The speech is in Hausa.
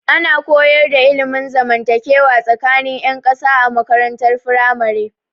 Ana koyar da ilmin zamantakewa tsakanin 'yan kasa a makarantar firamare.